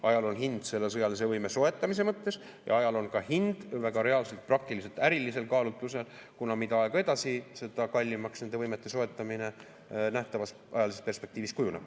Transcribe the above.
Ajal on hind selle sõjalise võime soetamise mõttes ja ajal on ka hind väga reaalselt praktilistel ärilistel kaalutlustel, kuna mida aeg edasi, seda kallimaks nende võimete soetamine nähtavas ajalises perspektiivis kujuneb.